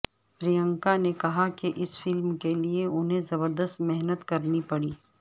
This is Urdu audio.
پرینکا نے کہا کہ اس فلم کے لیے انھیں زبردست محنت کرنی پڑی